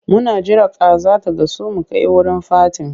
Muna jira kaza ta gasu mu kai wurin fatin.